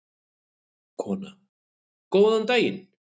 Kona: Góðan daginn.